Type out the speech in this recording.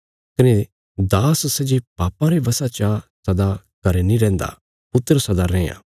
कने दास सै जे पापां रे वशा चा सदा घरें नीं रैंहदा पुत्र सदा रैआं